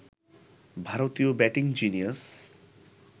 ভারতীয় batting genius